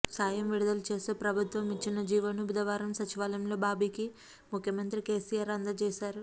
సాయం విడుదల చేస్తూ ప్రభుత్వం ఇచ్చిన జీవోను బుధవారం సచివాలయంలో బాబీకి ముఖ్యమంత్రి కేసీఆర్ అందజేశారు